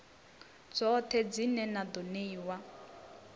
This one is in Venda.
dzoṱhe dzine na ḓo ṋeiwa